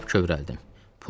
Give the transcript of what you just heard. Lap kövrəldim.